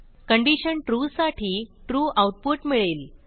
condition trueसाठी true output मिळेल